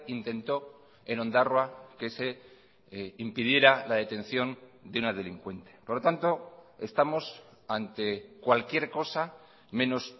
intentó en ondarroa que se impidiera la detención de una delincuente por lo tanto estamos ante cualquier cosa menos